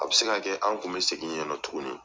A bɛ se ka kɛ an kun bɛ segin yennɔ tuguni.